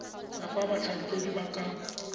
ya fa batlhankedi ba ka